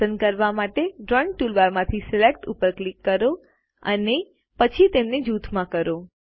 પસંદ કરવા માટે ડ્રોઈંગ ટૂલબાર માંથી સિલેક્ટ પર ક્લિક કરો અને પછી તેમને જૂથમાં કરો